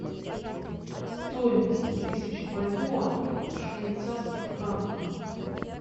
стоимость тысячи бальбоа в швейцарских франках